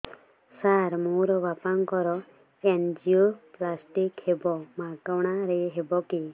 ସାର ମୋର ବାପାଙ୍କର ଏନଜିଓପ୍ଳାସଟି ହେବ ମାଗଣା ରେ ହେବ କି